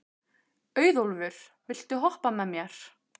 Auðólfur, viltu hoppa með mér?